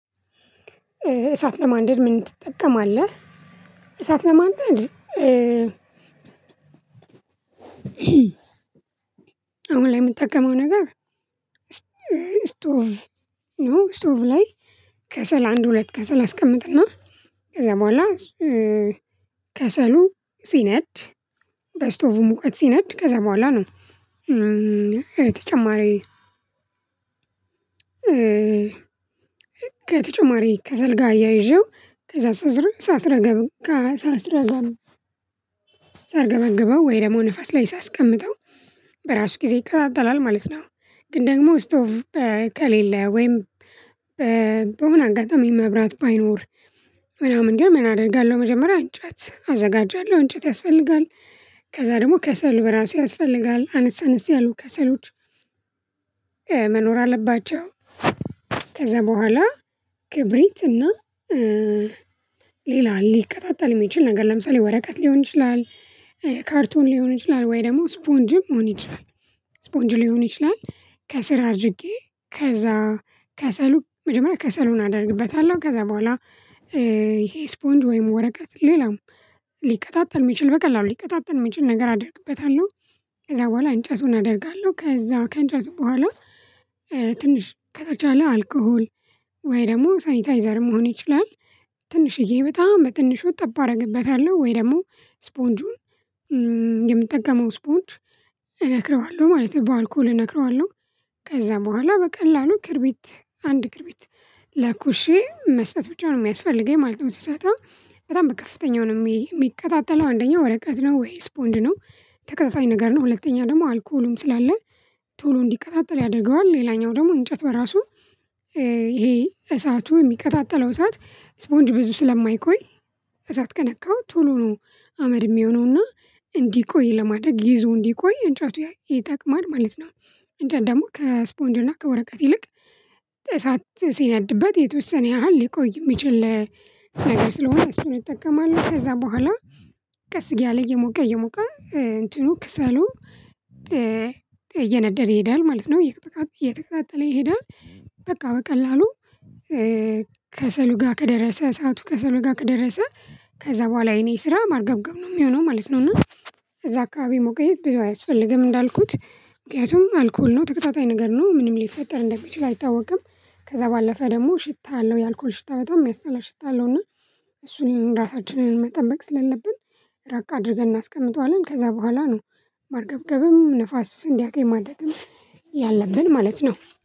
እሳት ለማንደድ ምን ትጠቀማለህ? እሳት ለማንደድ አሁን ላይ የምጠቀመው ነገር እስ ስቶቭ ነወ። ስቶቭ ላይ ከሰል አንድ ሁለት ከሰል አስቀምጥና ከዛ በኋላ ከሰሉ ሲነድ በስቶቩ ሙቀት ሲነድ ከዛ በኋላ ነው። ከተጨማሪ ከሰልጋ አያይዤው ከዛ ሳስረገብ ከሳስረገብ ሳርገበግበው ወይ ደግሞ ንፋስ ላይ ሳስቀምጠው በራሱ ጊዜ ይቃጠጣላል ማለት ነው። ግን ደግሞ ስቶቭ ከሌለ ወይም በሆነ አጋጣሚ መብራት ባይኖር ምናምን ግን ምን አደርጋለሁ መጀመሪያ እንጨት አዘጋጃለሁ እንጨት ያስፈልጋል። ከዛ ደግሞ ከሰል በራሱ ያስፈልጋል አነስ አነስ ያሉ ከሰሎች መኖር አለባቸው። ከዛ በኋላ ክብሪት እና ሌላ ሊቀጣጠል የሚችል ነገር ለምሳሌ ወረቀት ሊሆን ይችላል። ካርቶን ሊሆን ይችላል ወይ ደግሞ ስፖንጅም ሊሆን ይችላል። ስፖንጅ ሊሆን ይችላል ከስር አድርጌ ከዛ ከሰሉ መጀመሪያ ከሰሉን አደርግበታለሁ ከዛ በኋላ ይሄ ስፖንጅ ወይም ወረቀት ሌላም ሊቀጣጠል የሚችል በቃ ሊቀጣጠል የሚችል ነገር አደርግበታለሁ። ከዛ በኋላ እንጨቱን አደርጋለሁ ከዛ ከእንጨቱ በኋላ ትንሽ ከተቻለ አልኮሆል ወይ ደግሞ ሳኒታይዘር መሆን ይችላል ትንሽዬ በጣም በትንሹ ጠብ አደርግበታለሁ። ወይ ደግሞ ስፖንጁን የምጠቀመው ስፖንጅ እነክረዋለሁ ማለት ነው በአልኮሆል እነክረዋለሁ። ከዛ በኋላ በቀላሉ ክርቢት አንድ ክርቢት ለኩሼ መስጠት ብቻ ነው የሚያስፈልገኝ ማለት ነው። ስሰጠው በጣም በከፍተኛው ነው የሚቀጠጠለው አንደኛው ወረቀት ነው ወይ ስፖንጅ ነው ተቀጣጠይ ነገር ነው። ሁለተኛ ደግሞ አልኮሆሉም ስላለ ቶሎ እንዲቀጣጠል ያደርገዋል። ሌላኛው ደግሞ እንጨቱ በራሱ ይሄ እሳቱ የሚቀጣጠለው እሳት ስፖንጅ ብዙ ስለማይቆይ። እሳት ከነካሁ ቶሎ ነው አመድ የሚሆነው እና እንዲ ቆይ ለማድረግ ይዞ እንዲቆይ እንጫቱ ይጠቅማል ማለት ነው። እንጃ ደግሞ ከስፖንጅ እና ከወረቀት ይልቅ እሳት ሲነድበት የተወሰነ ያህል ሊቆይ የሚችል ነገር ስለሆነ እሱን እጠቀማለሁ። ከዛ በኋላ ቀስ እያለ እየሞቀ እየሞቀ እንትኑ ከሰሉ እየነደደ ይሄዳል ማለት ነው። እየተቀጣጠለ ይሄዳል በቃ በቀላሉ ከሰሉ ጋር ከደረሰ እሳቱ ከሰሉጋ ከደረሰ ከዛ በኋላ የኔ ስራ ማርገብገብ ነው የሚሆነው ማለት ነው። እና እዛ አካባቢ መቆየት ብዙ አያስፈልግም እንዳልኩት ምክንያቱም አልኮሆል ነው ተቀጣጠይ ነገር ነው ምንም ሊፈጠር እንደሚችል አይታወቅም። ከዛ ባለፈ ደግሞ ሽታ አለው የአልኮሆል ሽታ በጣም የሚያስጠላ ሽታ አለው። እና እሱን እራሳችንን መጠበቅ ስለሌለብን ረቅ አድርገን እናስቀምጠዋለን ከዛ በኋላ ነው። ማርገብገብም ንፋስ እንዲያቅም ማድረግም ያለብን ማለት ነው።